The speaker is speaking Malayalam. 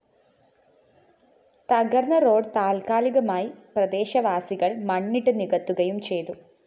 തകര്‍ന്ന റോഡ്‌ താല്‍ക്കാലികമായി പ്രദേശവാസികള്‍ മണ്ണിട്ട് നികത്തുകയും ചെയ്തു